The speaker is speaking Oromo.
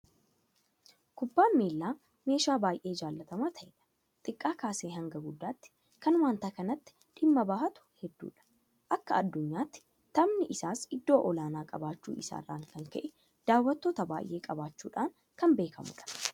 Kubbaan miilaa meeshaa baay'ee jaalatamaa ta'edha. Xiqqaa kaasee hanga guddaatti kan waanta kanatti dhimma bahatu hedduudha. Akka addunyaattis taphni isaa iddoo olaanaa qabaachuu isaa irraa kan ka'e daawwattoota baay'ee qabaachuudhaan kan beekamudha.